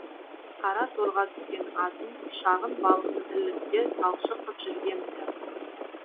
қара торға түскен азын шағын балықты тірлікке талшық қып жүргем ді